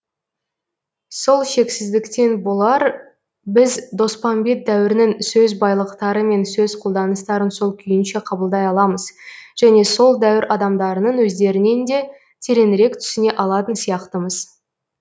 сол шексіздіктен болар біз доспамбет дәуірінің сөз байлықтары мен сөз қолданыстарын сол күйінше қабылдай аламыз және сол дәуір адамдарының өздерінен де тереңірек түсіне алатын сияқтымыз